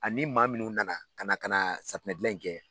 Ani maa minnu nana ka na ka na safinɛ dilan in kɛ